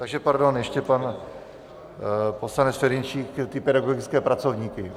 Takže pardon, ještě pan poslanec Ferjenčík ty pedagogické pracovníky.